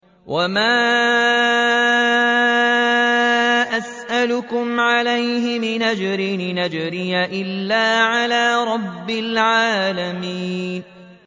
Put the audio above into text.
وَمَا أَسْأَلُكُمْ عَلَيْهِ مِنْ أَجْرٍ ۖ إِنْ أَجْرِيَ إِلَّا عَلَىٰ رَبِّ الْعَالَمِينَ